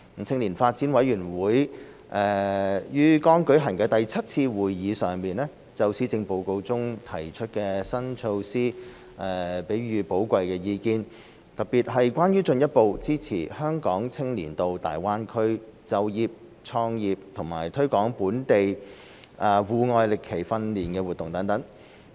青年發展委員會於剛舉行的第七次會議上，就施政報告中提出的新措施給予寶貴意見，特別是關於進一步支持香港青年到大灣區就業創業和推廣本地戶外歷奇訓練活動等。